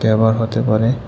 ব্যবহার হতে পারে--